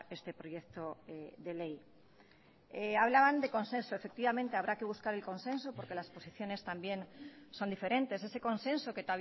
este proyecto de ley hablaban de consenso efectivamente habrá que buscar el consenso porque las posiciones también son diferentes ese consenso que